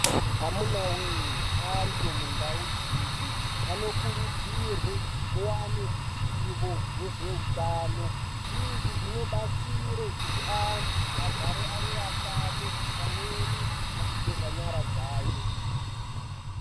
Amunawee antu mundau dzedu anokurudzirwa kuva neruzivo nezveutano izvi zvinobatsire kuti antu agare ari atano pamweni achigeza nyara dzawo.